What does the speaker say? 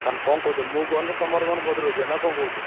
ତାହେଲେ କଣ କହୁଛ ମୁଁ ଗଲେ ତମର ମୋର ଭଦ୍ରକ ଯିବା ନା କଣ କହୁଛ?